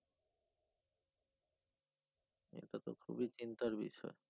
তো খুবই চিন্তার বিষয়।